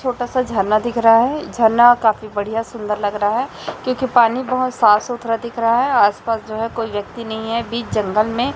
छोटा सा झरना दिख रहा है झरना काफी बढ़िया सुंदर लग रहा है क्योंकि पानी बहोत साफ सुथरा दिख रहा है आसपास जो है कोई व्यक्ति नहीं है बीच जंगल में --